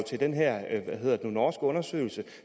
til den her norske undersøgelse